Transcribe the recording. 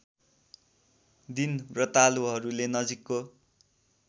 दिन व्रतालुहरूले नजीकको